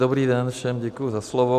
Dobrý den všem, děkuji za slovo.